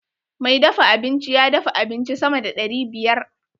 Mai dafa abinci ya dafa abinci sama da ɗari biyar.